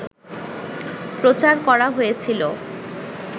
প্রচার করা হয়েছিল